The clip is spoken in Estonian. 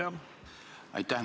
Aitäh!